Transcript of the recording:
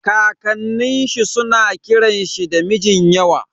Kakanin shi suna kiran shi da Mijinyawa.